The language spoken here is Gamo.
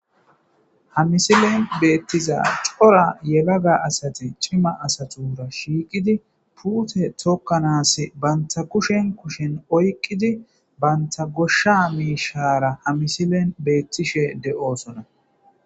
ha misilen beettiza cora yelaga asate cima asatura shiiqidi puute tokkanas banta kushen kushen oyqqidi banta goshsha miishara ha misilen beettishe de7osona